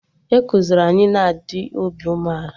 Ekuziri anyị na-adị obi umeala